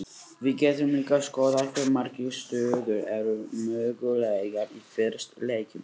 við getum líka skoðað hve margar stöður eru mögulegar í fyrstu leikjum